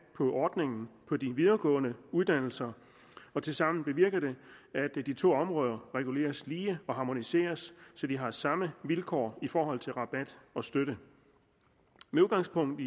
på ordningen på de videregående uddannelser og tilsammen bevirker det at de to områder reguleres lige og harmoniseres så de har samme vilkår i forhold til rabat og støtte med udgangspunkt